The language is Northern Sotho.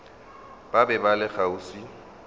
ba be ba le kgauswi